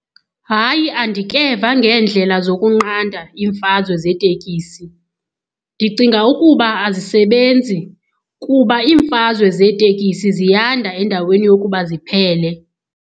Hayi, andikeva ngeendlela zokunqanda iimfazwe zeetekisi. Ndicinga ukuba azisebenzi kuba iimfazwe zeetekisi ziyanda endaweni yokuba ziphele.